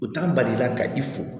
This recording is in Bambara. U t'an bali la ka i fo